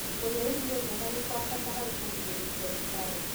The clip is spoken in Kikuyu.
Kũrĩa irio njega nĩ kwa bata harĩ kũgirĩrĩria cukari.